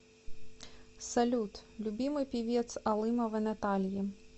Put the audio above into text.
салют любимый певец алымовой натальи